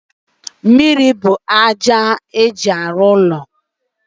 mmiri buuru aja ha ji arụ ụlọ..